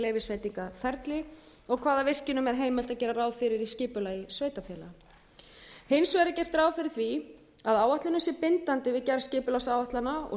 leyfisveitingaferli og hvaða virkjunum er heimilt að gera ráð fyrir í skipulagi sveitarfélaga hins vegar er gert ráð fyrir því að áætlunin sé bindandi við gerð skipulagsáætlana og